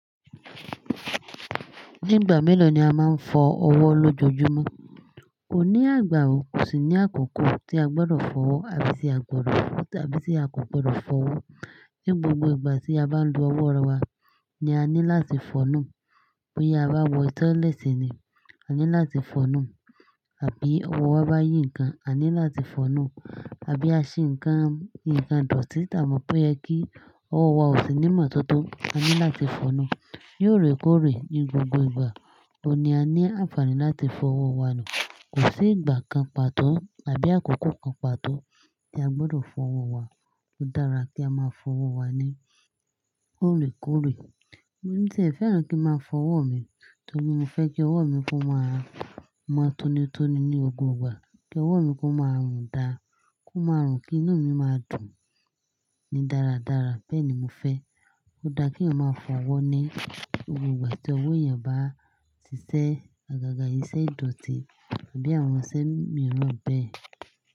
Ní ìgbà mélòó ni a máa ń fọ ọwọ́ lójoojúmọ́? Kò ní agbà wo, kò sì ní àkókò tí a gbọdọ̀ fọ̀wọ́ tàbí tí a kò gbọdọ̀ fọ̀wọ́. Ní gbogbo ìgbà tí a bá ń lo ọwọ́ wa ni a ní láti fọ̀nọ́. Bóyá a bá wọ toileti ni, a ní láti fọ̀nu, àbí ọwọ́ wa bá yí ǹkan, a ní láti fọ̀nu, àbí a ṣe ǹkan, ǹkan ìdọ̀tí tí a mọ̀ pé yẹ kí ọwọ́ wa ó sì ní ìmọ́tótó, a ní láti fọ̀nu. Yóò rè kórè ní gbogbo ìgbà tó ní a ní àǹfààní láti fọ̀ ọwọ́ wa nù. Kò sí ìgbà kan pàtó àbí àkókò kan pàtó tí a gbọdọ̀ fọ̀ ọwọ́ wa. Ó dára kí a máa fọ̀ ọwọ́ wa ní òrèkórè. Mo ní tí èn fẹ́ràn kí máa fọ ọwọ́ mi, torí mo fẹ́ kí ọwọ́ mi kó máa mọ́tónitóni ní gbogbo ìgbà, kí ọwọ́ mi kó máa rùn dáa, kó máa rùn kí inú mi máa dùn ní dáradára. Bẹ́ẹ̀ ni mo fẹ́. Ó dá kí èèyàn máa fọ̀ ọwọ́ ní gbogbo ìgbà tí ọwọ́ èèyàn bá si ṣẹ́ àgàgà, iṣẹ́ ìdọ̀tí àbí àwọn iṣẹ́ mìíràn bẹ́ẹ̀.